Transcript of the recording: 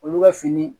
Olu ka fini